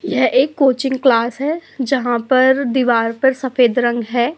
यह एक coaching class है जहां पर दीवार पर सफ़ेद रंग है।